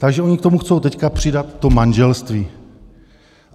Takže oni k tomu chtějí teď přidat to manželství.